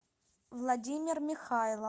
владимир михайлов